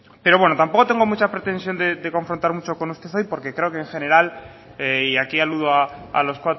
pero bueno tampoco tengo mucha pretensión de confrontar mucho con usted hoy porque creo que en general y aquí aludo a los